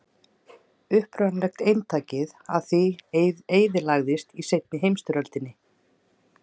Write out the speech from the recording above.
Upprunalega eintakið af því eyðilagðist í seinni heimsstyrjöldinni.